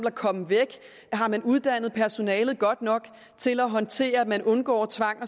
at komme væk har man uddannet personalet godt nok til at håndtere at undgå tvang